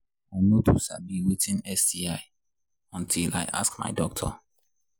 i no too sabi watin sti until i ask my doctor